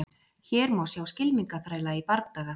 Hér má sjá skylmingaþræla í bardaga.